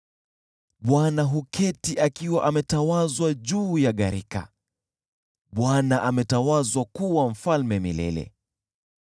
Bwana huketi akiwa ametawazwa juu ya gharika; Bwana ametawazwa kuwa Mfalme milele.